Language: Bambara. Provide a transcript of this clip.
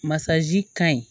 Masaji ka ɲi